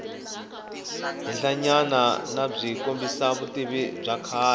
henhlanyanabyi kombisa vutivi bya kahle